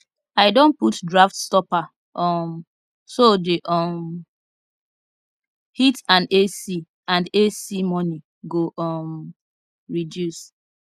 i don put draft stopper um so the um heat and ac and ac money go um reduce